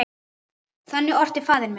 Þannig orti faðir minn.